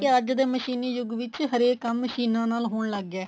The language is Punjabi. ਅੱਜ ਦੇ ਮਸ਼ੀਨੀ ਯੁਗ ਵਿੱਚ ਹਰੇਕ ਕੰਮ ਮਸ਼ੀਨਾ ਨਾਲ ਹੋਣ ਲੱਗ ਗਿਆ